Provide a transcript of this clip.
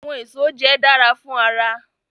Awọn eso jẹ dara fun ara